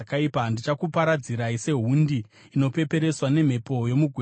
“Ndichakuparadzirai sehundi inopepereswa nemhepo yomugwenga.